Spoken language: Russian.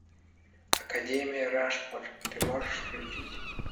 академия рашмор ты можешь включить